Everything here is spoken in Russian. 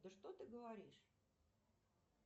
да что ты говоришь